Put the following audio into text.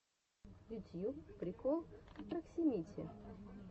ютьюб прикол проксимити